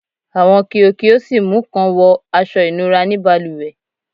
Awọn kio kio si mu kan wọ aṣọ ìnura ni balùwẹ